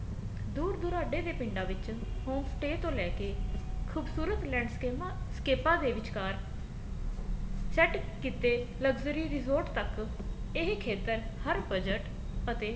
ਦੂਰ ਦੁਰਾਡੇ ਦੇ ਪਿੰਡਾ ਵਿੱਚ home stay ਤੋਂ ਲੈਕੇ ਖੂਬਸੂਰਤ ਲੈਂਡਸਕੇਮਾ ਸਕੇਪਾ ਦੇ ਵਿਚਕਾਰ set ਕੀਤੇ luxury resort ਤੱਕ ਇਹ ਖੇਤਰ ਹਰ budget ਅਤੇ